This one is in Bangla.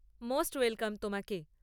মোস্ট ওয়েলকাম তোমাকে।